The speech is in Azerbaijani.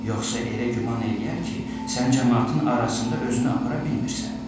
Yoxsa elə güman eləyər ki, sən camaatın arasında özünü apara bilmirsən.